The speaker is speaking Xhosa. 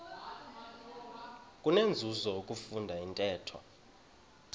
kunenzuzo ukufunda intetho